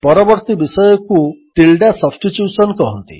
ପରବର୍ତ୍ତୀ ବିଷୟକୁ tilde substitution କୁହନ୍ତି